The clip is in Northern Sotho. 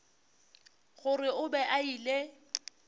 gore o be a ile